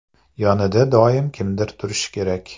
Yonida doim kimdir turishi kerak.